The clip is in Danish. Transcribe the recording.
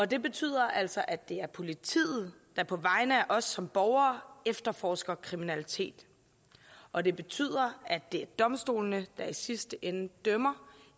det betyder altså at det er politiet der på vegne af os som borgere efterforsker kriminalitet og det betyder at det er domstolene der i sidste ende dømmer